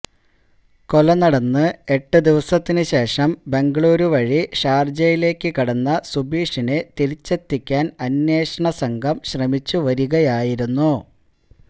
കൊല നടന്ന് എട്ടു ദിവസത്തിനു ശേഷം ബംഗളൂരു വഴി ഷാര്ജയിലേക്കു കടന്ന സുബീഷിനെ തിരിച്ചെത്തിക്കാന് അന്വേഷണ സംഘം ശ്രമിച്ചു വരികയായിരുന്നു